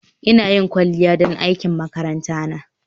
Ina yin kwalliya don aikin makaranta na